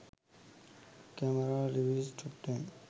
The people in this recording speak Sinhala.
camera reviews top 10